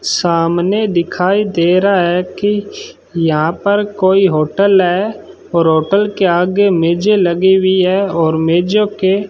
सामने दिखाई दे रहा है कि यहां पर कोई होटल है और होटल के आगे मेजें लगी हुई है और मेजों के --